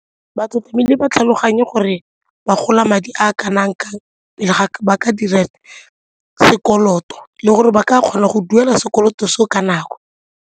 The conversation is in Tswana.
Batho tlamehile ba tlhaloganye gore ba ka gola madi a kanang kang pele ga ba ka dira sekoloto le gore ba ka kgona go duela sekoloto seo ka nako.